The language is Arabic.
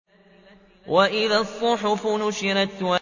وَإِذَا الصُّحُفُ نُشِرَتْ